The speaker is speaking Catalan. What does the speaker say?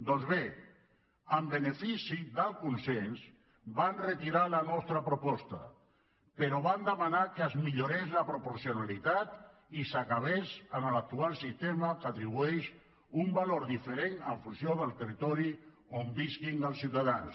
doncs bé en benefici del consens vam retirar la nostra proposta però vam demanar que es millorés la proporcionalitat i s’acabés amb l’actual sistema que atribueix un valor diferent en funció del territori on visquin els ciutadans